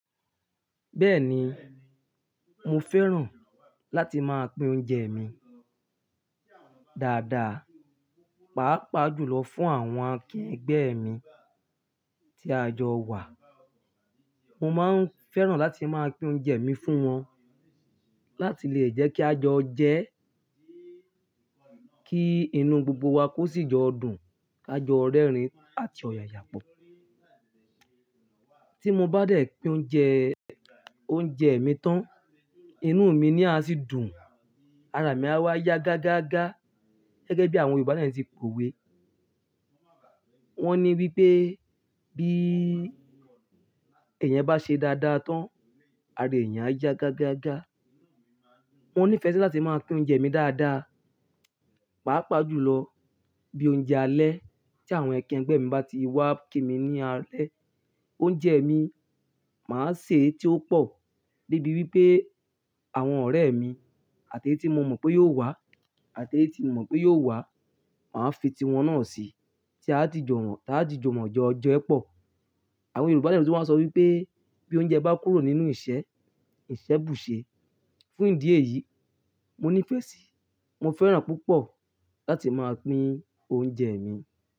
Bẹ́ẹ̀ni, mo fẹ́ràn láti máa pín oúnjẹ mi dáadáa, pàápàá jùlọ fún àwọn akegbẹ́ mi tí a jọ wà. Mo máa ń fẹ́ràn láti máa pín oúnjẹ mi fún wọn láti lè jẹ́ kí a jọ jẹ́, kí inú gbogbo wa kó sì jọ dùn, ká jọ rẹ́rìn-ín àti ọ̀yàyà pọ̀. Tí mo bá dẹ̀ pín oúnjẹ, oúnjẹ mii tán, inú mi naa a sì dùn, ara mi á wá ya gágáagá gẹ́gẹ́ bí àwọn Yorùbá náà ti powé. Wọ́n ní wípé bí ẹ̀eyan bá ṣe dáadáa tán, ara ẹeeyan á ya gágáagá. Mo nífẹ̀ẹ́ láti máa pín oúnjẹ mi dáadáa, pàápàá jùlọ bí oúnjẹ alẹ́ tí àwọn akegbẹ́ mi bá ti wá kí mi ní alẹ́. Oúnjẹ mi, màá sè é tí ó pọ̀ débi wípé. Awọn ọ̀rẹ́ mi àti eyi ti mo mọ̀ pé yóò wá àti eyi tí mo mọ̀ pé yóò wá, màá fi ti wọn náà sí, tí a ó jijọ mo, tí a ó jijọ mọ́ jọ jẹ́ pọ̀. Àwọn Yorùbá náà ló máa ń sọ wípé bí oúnjẹ bá kúrò nínú ìṣẹ́, ìṣẹ́ bùṣe. Fún ìdí èyí, mo nífẹ̀ẹ́ sí, mo fẹ́ràn púpọ̀ láti máa pín oúnjẹ mi.